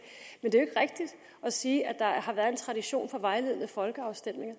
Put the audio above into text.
er sige at der har været en tradition for vejledende folkeafstemninger